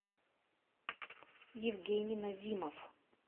евгений назимов